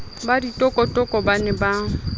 ba ditokotoko ba ne ba